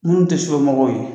Minnu tɛ sufɛmɔgɔw ye